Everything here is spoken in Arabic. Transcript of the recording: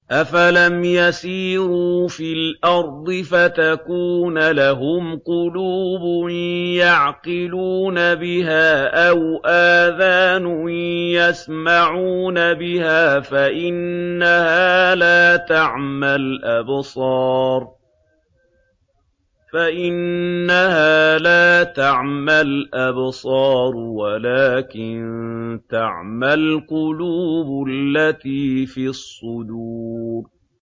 أَفَلَمْ يَسِيرُوا فِي الْأَرْضِ فَتَكُونَ لَهُمْ قُلُوبٌ يَعْقِلُونَ بِهَا أَوْ آذَانٌ يَسْمَعُونَ بِهَا ۖ فَإِنَّهَا لَا تَعْمَى الْأَبْصَارُ وَلَٰكِن تَعْمَى الْقُلُوبُ الَّتِي فِي الصُّدُورِ